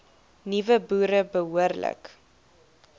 nuwe boere behoorlik